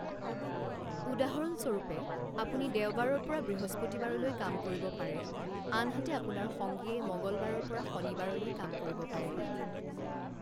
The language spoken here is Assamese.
উদাহৰণ স্বৰূপে, আপুনি দেওবাৰৰ পৰা বৃহস্পতিবাৰলৈ কাম কৰিব পাৰে, আনহাতে আপোনাৰ সংগীয়ে মঙলবাৰৰ পৰা শনিবাৰলৈ কাম কৰিব পাৰে।